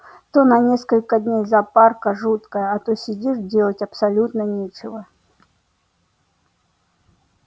то на несколько дней запарка жуткая а то сидишь делать абсолютно нечего